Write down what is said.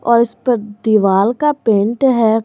और इस पर दीवाल का पेंट है।